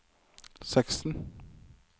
seksten